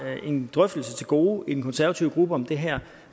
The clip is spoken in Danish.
en drøftelse til gode i den konservative gruppe om det her